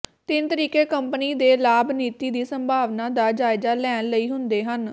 ਤਿੰਨ ਤਰੀਕੇ ਕੰਪਨੀ ਦੇ ਲਾਭ ਨੀਤੀ ਦੀ ਸੰਭਾਵਨਾ ਦਾ ਜਾਇਜ਼ਾ ਲੈਣ ਲਈ ਹੁੰਦੇ ਹਨ